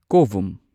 ꯀꯣꯚꯨꯝ